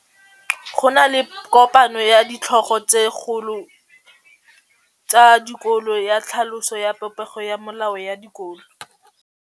Go na le kopanô ya ditlhogo tsa dikolo ya tlhaloso ya popêgô ya melao ya dikolo.